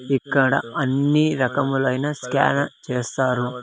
ఇక్కడ అన్ని రకములైన స్కాన్ చేస్తారు.